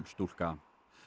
stúlka